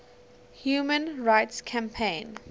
human rights campaign